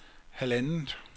halvandet